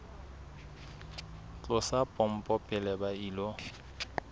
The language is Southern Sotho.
tlosa pompo pele ba ilo